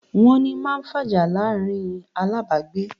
"Wọ́n ni", máa ń fàjà láàrín alábàágbé